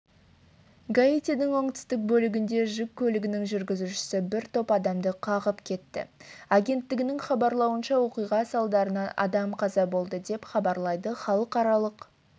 гаитидің оңтүстік бөлігінде жүк көлігінің жүргізушісі бір топ адамды қағып кетті агенттігінің хабарлауынша оқиға салдарынан адам қаза болды деп хабарлайды халықаралық